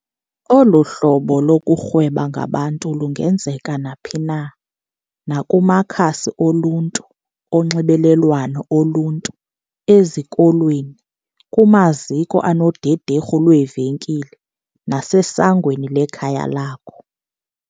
Olu hlobo lokurhweba ngabantu lungenzeka naphi na - naku makhasi oluntu onxibelelwano oluntu, ezikolweni, kumaziko anodederhu lweevenkile nasesangweni lekhaya lakho.